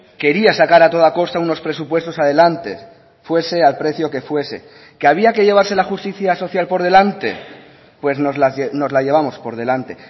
quería sacar a toda costa unos presupuestos adelante fuese al precio que fuese que había que llevarse la justicia social por delante pues nos la llevamos por delante